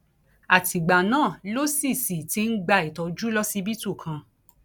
àtìgbà náà ló sì sì ti ń gba ìtọjú lọsibítù kan